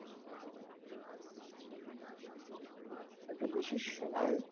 একটা বিশেষ সময়